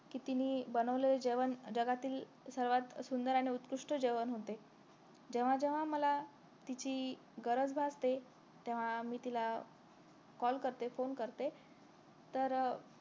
कि तिन्ही बनवलेलं जेवण जगातील सर्वात सुंदर आणि उत्कृष्ट जेवण होते जेव्हा जेव्हा मला तिची गरज भासते तेव्हा मी तिला call करते फोन करते तर